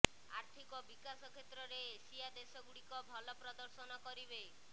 ଆର୍ଥିକ ବିକାଶ କ୍ଷେତ୍ରରେ ଏସିଆ ଦେଶଗୁଡ଼ିକ ଭଲ ପ୍ରଦର୍ଶନ କରିବେ